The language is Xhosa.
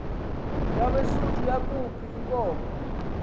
yabesuthu yakhuph iinkomo